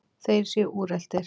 Þeir séu úreltir.